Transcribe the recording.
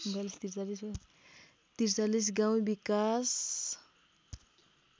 ४३ गाउँ विकास